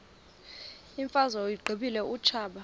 imfazwe uyiqibile utshaba